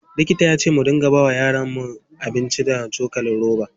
Likita yace muna bawa yaron mu abinci da cokalin roba.